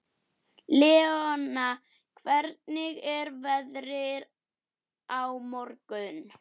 Leona, hvernig er veðrið á morgun?